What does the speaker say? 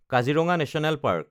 Kaziranga national park